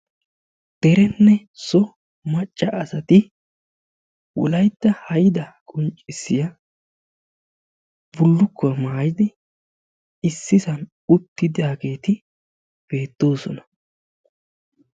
Dereenne so macca asati wolayitta hayidaa qonccissiya bullukkuwa mayidi issisan uttidaageeti beettoosona.